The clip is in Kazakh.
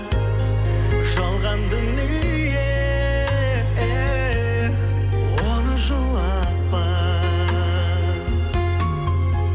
жалған дүние эээ оны жылатпа